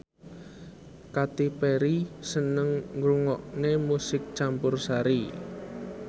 Katy Perry seneng ngrungokne musik campursari